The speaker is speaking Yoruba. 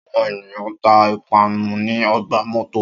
Áwọn ẹniyan ta ipanu ni ọgba mọto